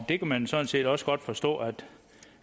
det kan man sådan set også godt forstå at